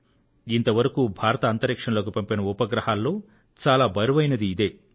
ఇంతవరకు భారత్ అంతరిక్షంలోకి పంపిన ఉపగ్రహాల్లో చాలా బరువైనది ఇదే